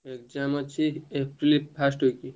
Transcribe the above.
Exam ଅଛି April first week ରୁ।